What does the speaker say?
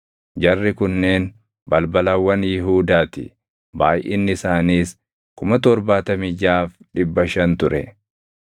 Jarri kunneen balbalawwan Yihuudaa ti; baayʼinni isaaniis 76,500 ture.